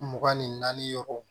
Mugan ni naani yɔrɔ